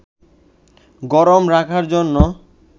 গরম রাখার জন্য